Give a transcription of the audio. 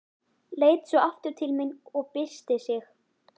Leit svo aftur til mín og byrsti sig.